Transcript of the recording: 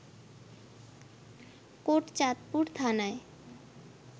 কোটচাঁদপুর থানায়